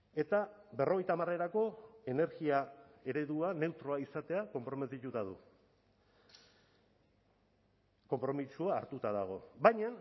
eta berrogeita hamarerako energia eredua neutroa izatea konprometituta du konpromisoa hartuta dago baina